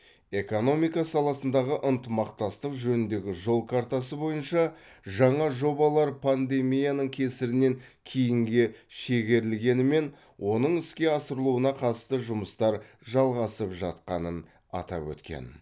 экономика саласындағы ынтымақтастық жөніндегі жол картасы бойынша жаңа жобалар пандемияның кесірінен кейінге шегерілгенімен оның іске асырылуына қатысты жұмыстар жалғасып жатқанын атап өткен